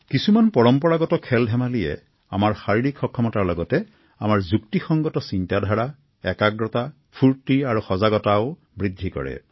কিছুমান পৰম্পৰাগত খেলধেমালিয়ে শাৰীৰিক উৎকৰ্ষ সাধনৰ লগতে আমাৰ যুক্তিসংগত চিন্তাধাৰা একাগ্ৰতা ফূৰ্তি আৰু সজাগতাও বৃদ্ধি কৰে